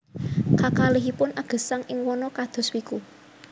Kakalihipun agesang ing wana kados wiku